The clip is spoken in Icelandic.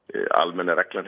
almenna reglan